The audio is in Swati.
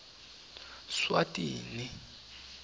swatini